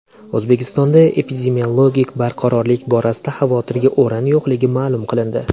O‘zbekistonda epidemiologik barqarorlik borasida xavotirga o‘rin yo‘qligi ma’lum qilindi .